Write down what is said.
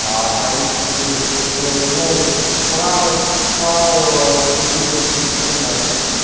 а то есть ну срал сцал сугубо исключительно